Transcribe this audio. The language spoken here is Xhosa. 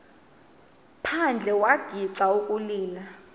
phandle wagixa ukulila